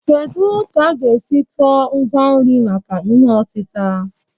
Kedu ka a ga-esi tụọ ngwa nri maka ihe otita?